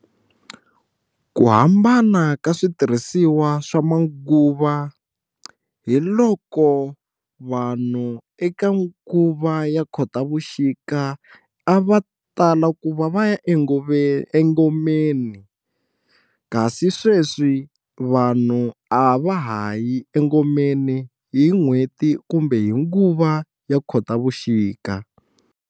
Ku hambana ka switirhisiwa swa manguva hi loko vanhu eka nguva ya Khotavuxika a va tala ku va va ya engomeni kasi sweswi vanhu a va ha yi engomeni hi n'hweti kumbe hi nguva ya khotavuxika.